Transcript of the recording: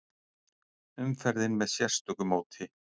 Umferðin með sérstöku móti